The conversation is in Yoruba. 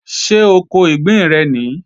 Ṣé oko ìgbín rẹ̀ nìí?